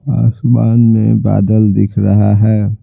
आसमान में बादल दिख रहा है।